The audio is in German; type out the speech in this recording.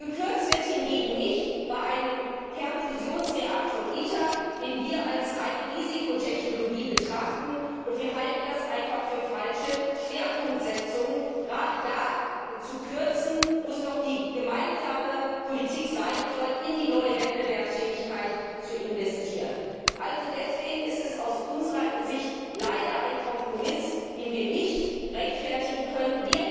Gekürzt wird hingegen nicht bei einem Kernfusionsreaktor ITER, den wir als eine Risikotechnologie betrachten, und wir halten es einfach für falsche Schwerpunktsetzung, gerade da zu kürzen, wo es doch die gemeinsame Politik sein soll, in die neue Wettbewerbsfähigkeit zu investieren. Also deswegen ist es aus unserer Sicht leider ein Kompromiss, den wir nicht rechtfertigen können.